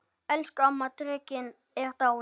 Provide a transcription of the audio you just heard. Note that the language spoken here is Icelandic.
Elsku amma dreki er dáin.